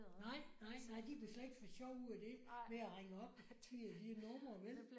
Nej nej nej. De kunne slet ikke få sjov ud af det med at ringe op til de numre vel